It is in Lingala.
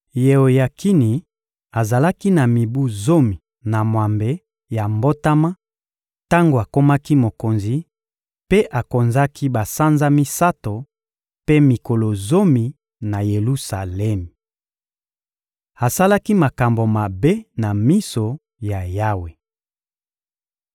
Yeoyakini azalaki na mibu zomi na mwambe ya mbotama tango akomaki mokonzi, mpe akonzaki basanza misato mpe mikolo zomi na Yelusalemi. Asalaki makambo mabe na miso ya Yawe.